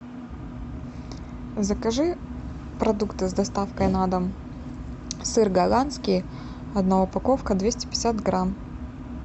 закажи продукты с доставкой на дом сыр голландский одна упаковка двести пятьдесят грамм